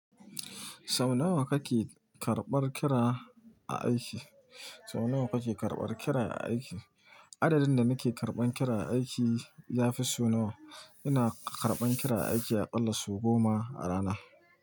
Sau nawa kake karɓan kira a aiki? Sau nawa kake karɓar kira a aiki? Adadin da nake karban kira a aiki yafi sau nawa. Ina karɓan kira aiki aƙalla sau goma a rana.